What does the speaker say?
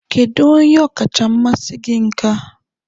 Kedu onye ọkacha mmasị gị nka?